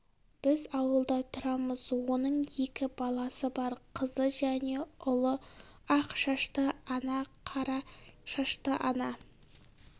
біз ауылда тұрамыз оның екі баласы бар қызы және ұлы ақ шашты ана қара шашты ана